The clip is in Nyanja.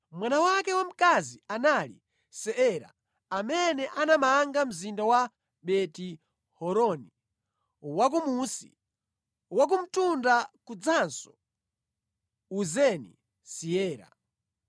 Mwana wake wamkazi anali Seera, amene anamanga mzinda wa Beti-Horoni Wakumunsi, Wakumtunda kudzanso Uzeni-Seera.